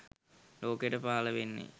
ලෝකයට පහළ වෙන්නේ